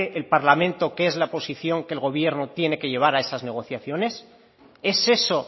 el parlamento que es la posición que el gobierno tiene que llevar a esas negociaciones es eso